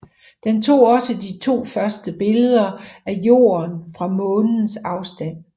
Den tog også de første to billeder af Jorden fra Månens afstand